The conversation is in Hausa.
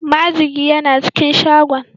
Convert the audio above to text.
Majigi yana cikin shagon.